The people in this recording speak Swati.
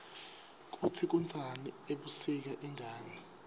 kutsi kunsani ebusika ingani